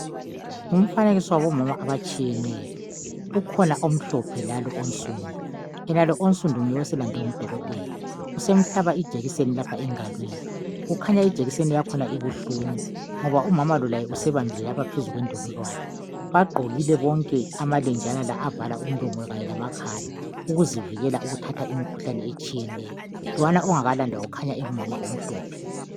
ngumfanekiso wabomama abatshiyeneyo ukhona omhlophe lalo onsundu yenalo onsundu njguye oselandwe ngu dokotela usemhlaba ijekiseni lapha engalweni kukhanya ijekiseni yakhona ibuhlungu ngoba umamalo laye usebambile lapha phezu kwendololwane bagqokile bonke ama lenjana la avala umlomo kanye lamakhala ukuzivikela ukuthatha imikhuhlane etshiyeneyo lwana ongakalandwa ukhanya engumama omhlophe